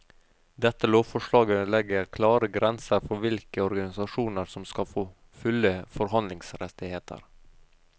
Dette lovforslaget legger klare grenser for hvilke organisasjoner som skal få fulle forhandlingsrettigheter.